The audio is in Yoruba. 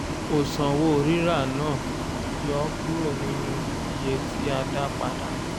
o sanwó rírà náà yọ kúrò nínú iye tí a dá padà.